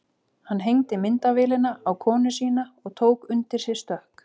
Hann hengdi myndavélina á konu sína og tók undir sig stökk.